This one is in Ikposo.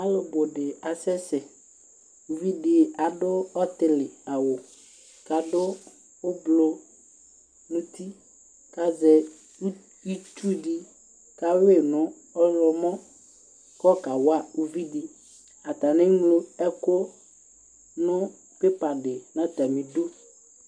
Alʋ bʋ dɩ asɛsɛ, uvidɩ adʋ ɔtɩlɩ awʋ, kʋ adʋ ʋblʋ nʋ uti, kʋ azɛ itsu dɩ kʋ alʋ yɩ nʋ ɔyɔmɔ, kʋ ayɔ kawa uvidɩ, atanɩ eŋlo ɛkʋ nʋ pepa dɩ nʋ atamɩ idu